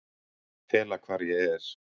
Fela hvar ég er